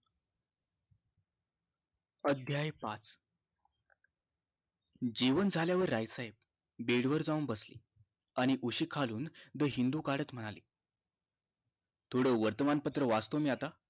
अध्याय पाच जेवण झाल्यावर रायफाय bed वर जाऊन बसले आणि उशी खालुन the हिंदु काढत म्हणाले थोडं वर्तमान पत्र वाचतो मी आता